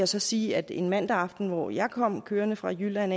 så sige at en mandag aften hvor jeg kom kørende fra jylland